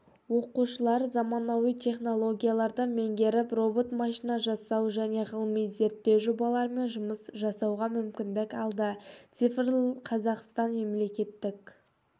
оқушылар заманауи технологияларды меңгеріп робот машина жасау және ғылыми-зерттеу жобаларымен жұмыс жасауға мүмкіндік алды цифрлықазақстан мемлекеттік